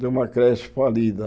De uma creche falida.